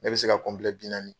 Ne bi se ka bi naani